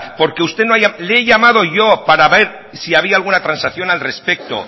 porque usted no le he llamado yo para ver si había alguna transacción al respecto